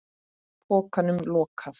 Pokanum lokað.